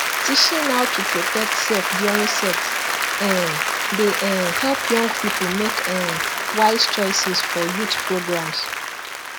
teaching how to protect self during sex um dey um help young people make um wise choices for youth programs